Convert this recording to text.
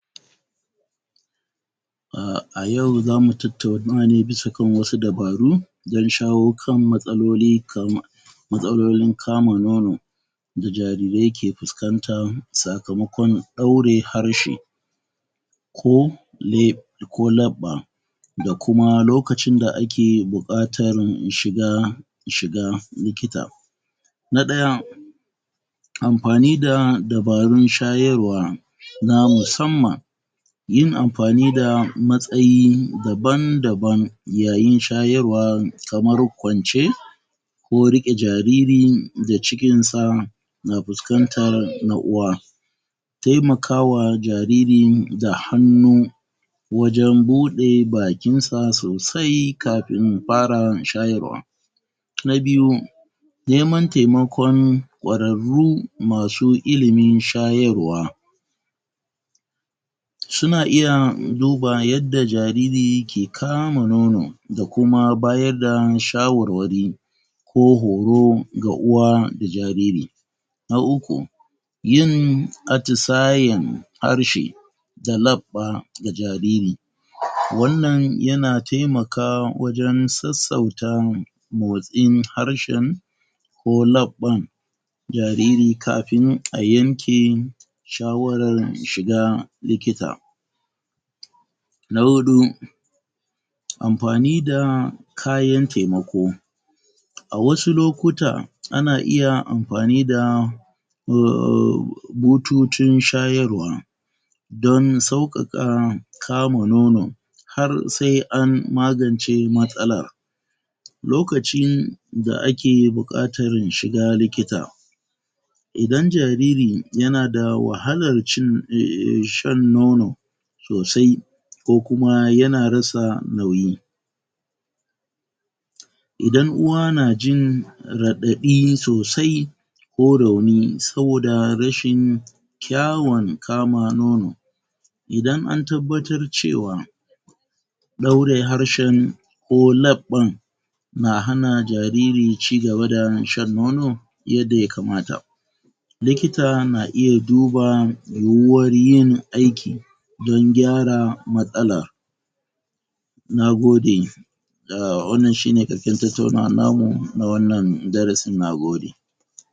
A yau za mu tattauna ne bisa kan wasu dabaru, don shawo kan matsaloli kamar matsalolin kamun nono da jarirai ke fuskanta sakamakon ɗaure harshe, ko leɓe ko laɓɓa da kuma lokacin da ake buƙatar mu shiga shiga likita na 1 amfani da dabarun shayarwa na musamman, yin amfani da matsayi daban da ban yayin shayarwa kamar kwance ko riƙe jariri da jikinsa, na fuskantar na'uwa taimakawa jaririn da hannu wajen buɗe bakin sa sosai, kafin fara shayarwa. Na 2 neman taimakon ƙwararru masu ilimin shayarwa suna iya duba yadda jariri yake kama nono da kuma bada shawarwari, ko horo ga uwa da jariri. Na 3 yin atisayin harshe da laɓɓa ga jariri, wannan yana taimaka wajen sassauta motsin harshen ko laɓɓan jariri kafin a yanke shawarar shiga likita Na 4. Amfani da kayan taimako a wasu lokuta ana iya amfani da? bututun shayarwa, don sauƙaƙa kama nono har sai an magance matsalar loka cin da ake buƙatar shiga likita, idan jaririn yana da wahalar cin, shan nono sosai, ko kuma yana rasa nauyi idan uwa na jin raɗaɗi sosai, ko rauni saboda rashin kyawun kama nono idan an tabbatar cewa ɗaure harshen ko laɓɓan, na hana jariri cigaba da shan nono yadda ya kamata likita na iya duba da yiwuwar yin aiki don gyara matsalar nagode. Eh, wannan shine ƙarshen tattaunawar na mu, na wannan darasin, nagode.